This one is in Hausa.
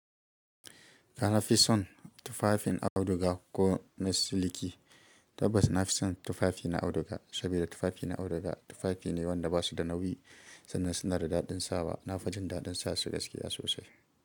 Ka nafi son tufafin auduga kona sliki? Tabbas na fi son tufafi na auduga saboda tufafi na auduga tufafi ne wanda ba su da nauyi sannan suna da daɗin sawa. Na fi jin daɗin sa su da gaskiya sosai.